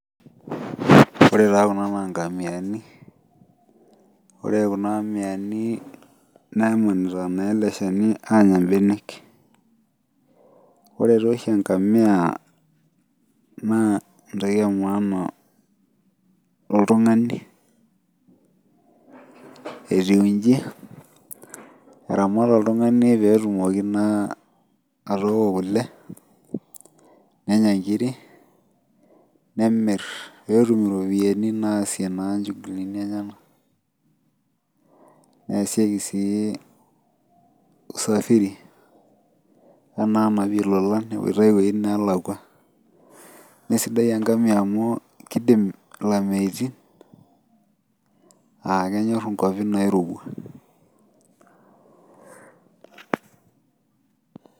Ore taa Kuna naa nkamiani .ore Kuna amiani nemunito naa ele shani aanya benek. ore taa oshi enkamia naa entoki emaana toltungani. etiu iji. eramat oltungani pee etumoki naaa atooko kule, nenya nkiri, nemir pee etumoki naa ataasie nchugulini enyenakneesieki sii, usafiri, enapi lolan naa sidai enkamia amu kidim ilameitin.aa kenyor inkuapi naairowua.